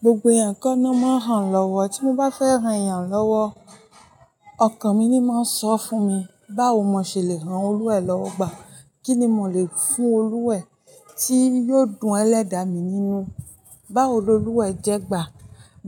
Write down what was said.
Gbogbo èèyàn kọ́ ná máa ń hàn lọ́wọ́. Tí mo bá fẹ́ hàn èèyàn lọ́wọ́, ọkàn mi ni máa ń sọ fún mi, báwo mo ṣe le hàn Olú ẹ̀ lọ́wọ́ gbà, kíni mò le fún Olú ẹ̀ tí yóò dùn ẹlẹ́dà mi nínú? Báwo lo Olú wa ẹ̀ jẹ́ gbà?